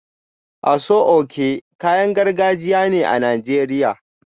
Aso oke kayan gargajiya ne a Najeriya